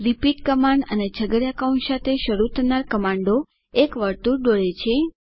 repeat command અને છગડીયા કૌંશ સાથે શરુ થનાર કમાન્ડો એક વર્તુળ દોરે છે